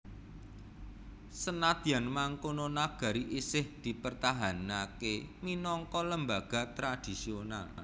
Senadyan mangkono nagari isih dipertahanaké minangka lembaga tradisional